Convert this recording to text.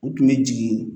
U tun bɛ jigin